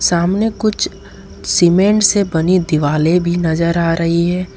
सामने कुछ सीमेंट से बनी दिवाले भी नजर आ रही है।